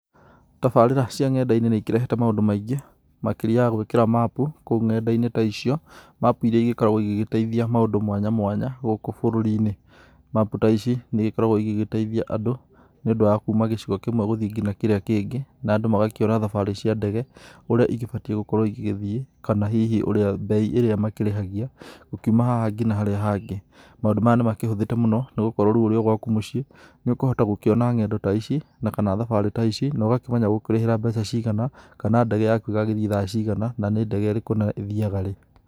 Tabarĩra cia ngenda-inĩ nĩ ikĩrehete maũndũ maingĩ makĩria ya gwĩkĩra mapu kũu ngenda-inĩ ta icio, mapu irĩa igĩkoragwo igĩgĩteithia maũndũ mwanya mwanya gũkũ bũrũri-inĩ. Mapu ta ici nĩ igĩkoragwo igĩgĩteithia andũ nĩ ũndũ wa kuma gĩcigo kĩmwe guthiĩ nginya kĩrĩa kĩngĩ na andũ magakiona thabari cia ndege ũrĩa igĩbatiĩ gũkorwo igĩgĩthiĩ kana hihi mbei ĩrĩa makĩrĩhagia gũkiuma haha nginya harĩa hangĩ. Maũndũ maya nĩ makĩhũthĩte mũno nĩ gũkorwo rĩu ũrio gwaku mũciĩ nĩ ũkũhota gũkiona ngendo ta ici na kana thabarĩ ta ici, no ũgakĩmenya ũgũkĩrĩhĩra mbeca cigana kana ndege yaku ĩgagĩthiĩ thaa , na nĩ ndege ĩrĩkũ na ĩthiaga rĩ.